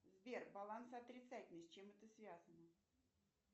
сбер баланс отрицательный с чем это связано